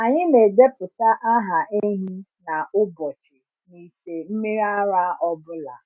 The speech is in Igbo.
Anyị na-edepụta aha ehi na ụbọchị n’ite mmiri ara ọ bụla.